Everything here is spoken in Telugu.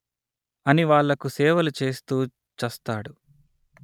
అని వాళ్ళకు సేవలు చేస్తూ చస్తాడు